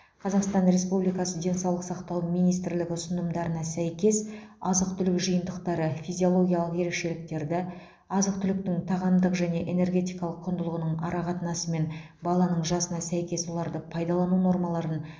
қазақстан республикасы денсаулық сақтау министрлігі ұсынымдарына сәйкес азық түлік жиынтықтары физиологиялық ерекшеліктерді азық түліктің тағамдық және энергетикалық құндылығының арақатынасы мен баланың жасына сәйкес оларды пайдалану нормаларын